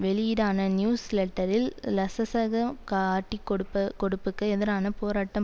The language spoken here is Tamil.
வெளியீடான நியூஸ் லெட்டரில் லசசக காட்டிக்கொடுப்பகொடுப்புக்கு எதிரான போராட்டம்